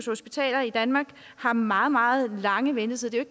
hospitaler i danmark har meget meget lange ventetider det er